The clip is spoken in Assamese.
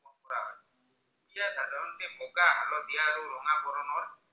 বৰণৰ